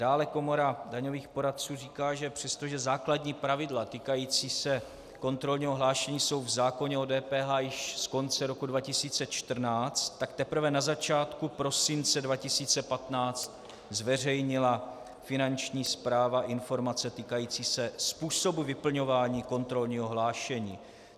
Dále Komora daňových poradců říká, že přestože základní pravidla týkající se kontrolního hlášení jsou v zákoně o DPH již z konce roku 2014, tak teprve na začátku prosince 2015 zveřejnila Finanční správa informace týkající se způsobu vyplňování kontrolního hlášení.